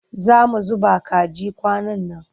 Za mu zuba kaji kwanan nan.